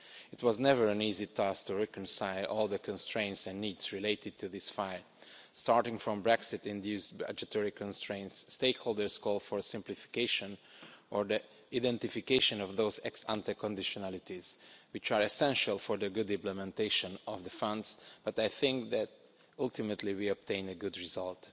It was never an easy task to reconcile all the constraints and needs related to this file, starting from Brexit induced budgetary constraints, stakeholder calls for simplification or the identification of those ex ante conditionalities which are essential for the good implementation of the funds, but I think that ultimately we obtained a good result.